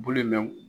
Bulu mɛn